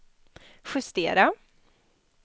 justera